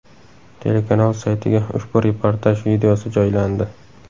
Telekanal saytiga ushbu reportaj videosi joylandi .